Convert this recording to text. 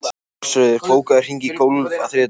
Ásröður, bókaðu hring í golf á þriðjudaginn.